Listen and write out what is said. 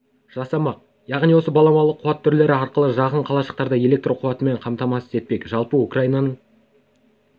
жасамақ яғни осы баламалы қуат түрлері арқылы жақын қалашықтарды электр қуатымен қамтамасыз етпек жалпы украинаның